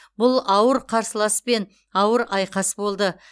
бұл ауыр қарсыласпен ауыр айқас болды